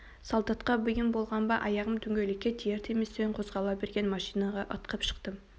солдатқа бұйым болған ба аяғым дөңгелекке тиер-тиместен қозғала берген машинаға ытқып шықтым